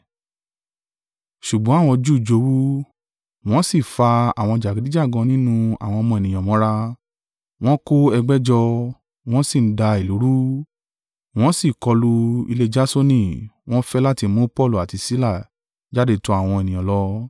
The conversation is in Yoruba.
Ṣùgbọ́n àwọn Júù jowú, wọn sì fa àwọn jàgídíjàgan nínú àwọn ọmọ ènìyàn mọ́ra, wọ́n ko ẹgbẹ́ jọ, wọ́n sì ń dá ìlú rú; wọ́n sì kọlu ilé Jasoni, wọ́n ń fẹ́ láti mú Paulu àti Sila jáde tọ àwọn ènìyàn lọ.